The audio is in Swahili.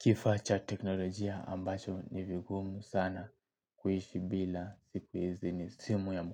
Kifaa cha teknolojia ambacho ni vigumu sana kuishi bila siku hizi ni simu ya